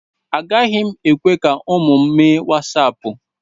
Agaghị m ekwe ka ụmụ m mee wasaapụ.